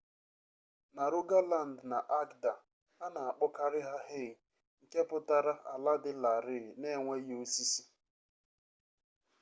na rogaland na agda a na akpọkarị ha hei nke pụtara ala dị larịị na enweghị osisi